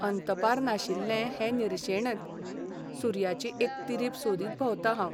अंतपार नाशिल्ले हे निर्शेणेंत सुर्याची एक तिरीप सोदीत भोंवतां हांव.